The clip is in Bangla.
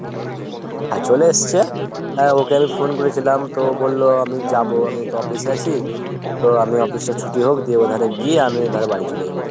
হ্যাঁ চলে এসছে। আহ ওকে আমি phone করেছিলাম তো ও বললো হ্যাঁ আমি যাবো আমিতো office এ আছি। তো আমি office টা ছুটি হোক দিয়ে আমি ওধারে গিয়ে আমি এধারে বাড়ি চলে যাবো।